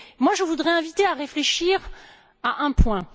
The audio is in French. Je voudrais vous inviter à réfléchir à un point.